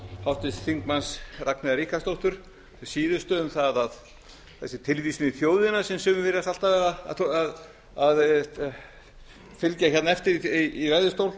háttvirts þingmanns ragnheiðar ríkharðsdóttur hin síðustu um það að þessi tilvísun í þjóðina sem sumir virðast alltaf vera að fylgja hérna eftir í ræðustól